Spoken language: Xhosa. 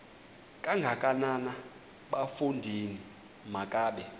kangakanana bafondini makabe